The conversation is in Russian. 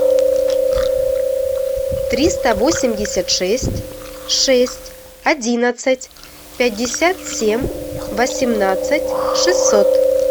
триста восемьдесят шесть шесть одиннадцать пятьдесят семь восемнадцать шестьсот